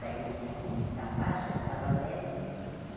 Daí não tinha como escapar, já estava velho.